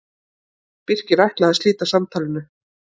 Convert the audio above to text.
Birkir ætlaði að slíta samtalinu.